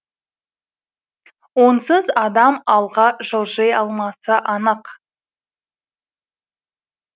онсыз адам алға жылжи алмасы анық